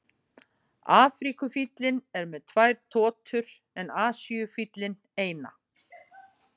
Afríkufíllinn er með tvær totur en Asíufíllinn eina.